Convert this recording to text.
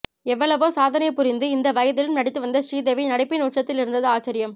எவ்வளவோ சாதனை புரிந்து இந்த வயதிலும் நடித்து வந்த ஸ்ரீதேவி நடிப்பின் உச்சத்தில் இருந்தது ஆச்சரியம்